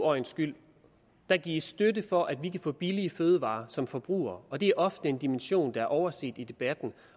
øjnes skyld der gives støtte for at vi kan få billige fødevarer som forbrugere og det er ofte en dimension som er overset i debatten